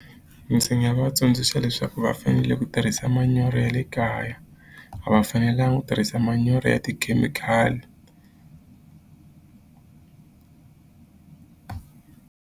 Ndzi nga va tsundzuxa leswaku va fanele ku tirhisa manyoro ya le kaya a va fanelanga ku tirhisa manyoro ya tikhemikhali.